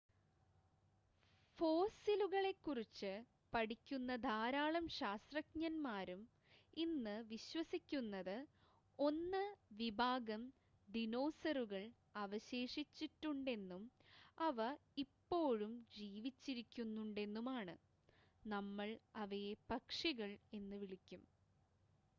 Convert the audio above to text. ഫോസ്സിലുകളെക്കുറിച്ച് പഠിക്കുന്ന ധാരാളം ശാസ്ത്രജ്ഞന്മാരും ഇന്ന് വിശ്വസിക്കുന്നത് 1 വിഭാഗം ദിനോസറുകൾ അവശേഷിച്ചിട്ടുണ്ടെന്നും അവ ഇപ്പോഴും ജീവിച്ചിരിക്കുന്നുണ്ടെന്നുമാണ് നമ്മൾ അവയെ പക്ഷികൾ എന്നു വിളിക്കും